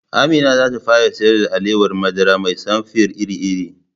Amina zata fara siyar da alawar madara mai samfir iri-iri